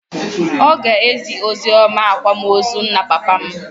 Ọ ga-ezi oziọma n'akwamozu nna papa m.